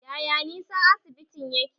Yaya nisan asibitin yake?